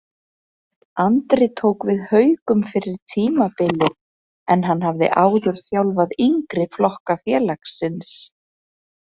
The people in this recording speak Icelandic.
Andri tók við Haukum fyrir tímabilið en hann hafði áður þjálfaði yngri flokka félagsins.